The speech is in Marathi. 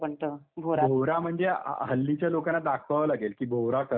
भोवरा म्हणजे हल्लीच्या लोकांना दाखवावा लागेल की भोवरा कसा असतो.